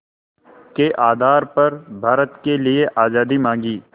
के आधार पर भारत के लिए आज़ादी मांगी